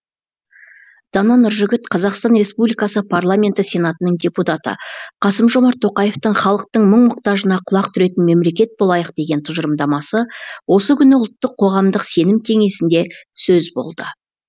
дана нұржігіт қазақстан республикасы парламенті сенатының депутаты қасым жомарт тоқаевтың халықтың мұң мұқтажына құлақ түретін мемлекет болайық деген тұжырымдамасы осы күні ұлттық қоғамдық сенім кеңесінде сөз болды